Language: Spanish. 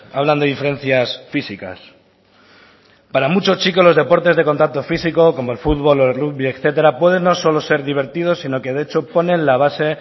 hablan de diferencias físicas para muchos chicos los deportes de contacto físico como el futbol o el rugby etcétera puede no solo ser divertido sino que de hecho ponen la base